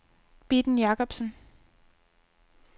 Bitten Jacobsen